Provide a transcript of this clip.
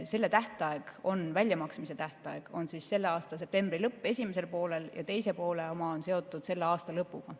Selle esimese poole väljamaksmise tähtaeg on selle aasta septembri lõpp ja teise poole oma on seotud selle aasta lõpuga.